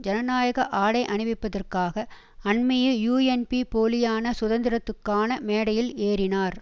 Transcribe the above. ஜனநாயக ஆடை அணிவிப்பதற்காக அண்மையில் யூஎன்பி போலியான சுதந்திரத்துக்கான மேடையில் ஏறினார்